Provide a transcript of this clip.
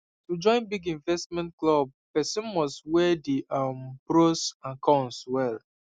to join big investment club person must weigh the um pros and cons well